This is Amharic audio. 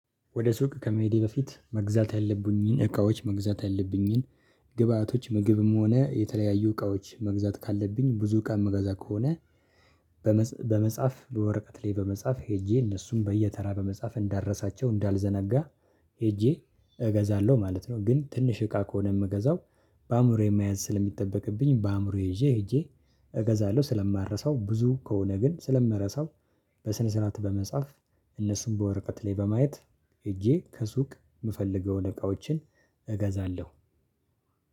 ወደ ሱቅ ከመሄዴ በፊት መግዛት ያለብኝን እቃዎች መግዛት ያለብኝን ግብአቶች ምግብም ሆነ የተለያዩ እቃዎች መግዛት ካለብኝ ብዙ እቃ ምገዛ ከሆነ በመጽሐፍ በወረቀት ላይ በመጻፍ ሄጄ እነሱም በየተራ በመጻፍ እንዳረሳቸው እንዳልዘነጋ ሄጄ እገዛለሁ ማለት ነው። ግን ትንሽ እቃ ከሆነ ምገዛው በአእምሮዬ መያዝ ስለሚጠበቅብኝ በአእምሮ ይዤ ሄጄ እገዛለሁ። ስለማረሳው ብዙ ከሆነ ግን ስለምረሳው በስነ ስርዓት በመጻፍ እነሱን በወረቀት ላይ በማየት ሄጄ ከሱቅ ምፈልገውን እቃዎችን እገዛለሁ